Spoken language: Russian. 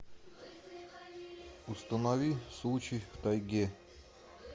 установи случай в тайге